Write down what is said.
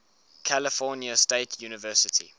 california state university